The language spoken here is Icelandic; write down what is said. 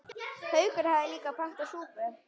Haukur hafði líka pantað súpu.